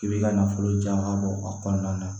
I b'i ka nafolojan bɔ a kɔnɔna na